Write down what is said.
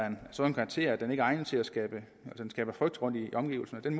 en sådan karakter at den skaber frygt i omgivelserne den